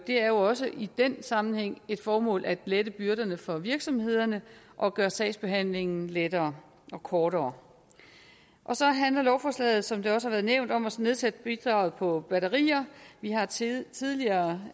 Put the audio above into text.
er jo også i den sammenhæng et formål at lette byrderne for virksomhederne og gøre sagsbehandlingen lettere og kortere så handler lovforslaget som det også har været nævnt om at nedsætte bidraget på batterier vi har tidligere